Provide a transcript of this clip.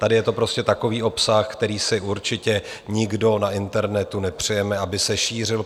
Tady je to prostě takový obsah, který si určitě nikdo na internetu nepřejeme, aby se šířil.